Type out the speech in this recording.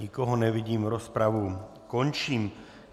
Nikoho nevidím, rozpravu končím.